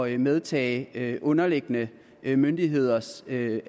at medtage underliggende myndigheders